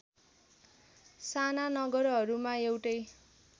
साना नगरहरूमा एउटै